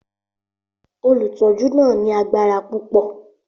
Olùtọ́jú náà ní agbára púpọ̀.